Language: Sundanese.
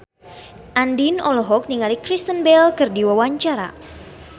Andien olohok ningali Kristen Bell keur diwawancara